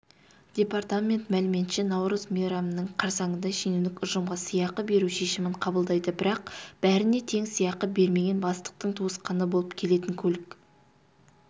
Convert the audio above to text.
департамент мәліметінше наурыз мейрамының қарсаңында шенеунік ұжымға сыйақы беру шешімін қабылдайды бірақ бәріне тең сыйақы бермеген бастықтың туысқаны болып келетін көлік